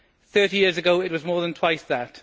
Thirty years ago it was more than twice that.